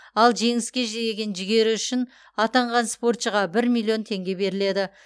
ал жеңіске жеген жігері үшін атанған спортшыға бір миллион теңге беріледі